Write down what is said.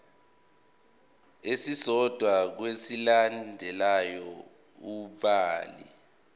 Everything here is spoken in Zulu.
esisodwa kwezilandelayo ubhale